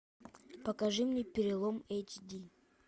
покажи мне перелом эйч ди